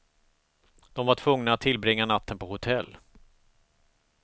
De var tvungna att tillbringa natten på hotell.